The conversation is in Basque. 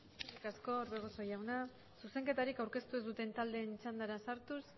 eskerrik asko orbegozo jauna zuzenketarik aurkeztu ez duten taldeen txandara sartuz